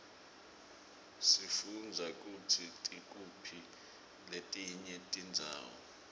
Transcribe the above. sifundza kutsi tikuphi letinye tindzawo